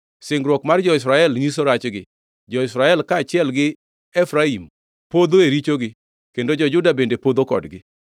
Sungruok mar jo-Israel nyiso rachgi; jo-Israel kaachiel gi Efraim podho e richogi; kendo jo-Juda bende podho kodgi.